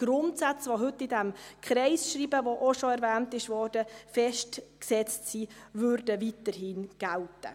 Die Grundsätze, die heute in diesem Kreisschreiben, das auch schon erwähnt wurde, festgesetzt sind, würden also weiterhin gelten.